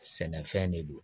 Sɛnɛfɛn de don